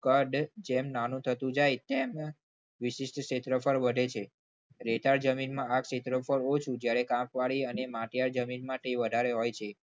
કદ જેમ નાનું થતું જાય એમ એમ વિશિષ્ટ ક્ષેત્રફળ વધે છે રેતાળ જમીનમાં આ ક્ષેત્રફળ ઓછું જ્યારે કંપવાળી અને માટીઆર જમીનમાં વધારે હોય છે.